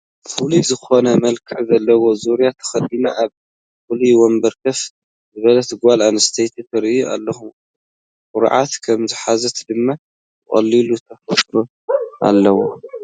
ፍሉይ ዝኾነ መልክዕ ዘለዎ ዙርያ ተኸዲና ኣብ ፍሉይ ወንበር ኮፍ ዝበለት ጓል ኣነስተይቲ ትርአ ኣላ፡፡ ኩርዓት ከምዝሓዛ ድማ ብቐሊሉ ተፍጥል ኣላ፡፡